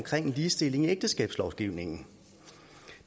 ligestilling i ægteskabslovgivningen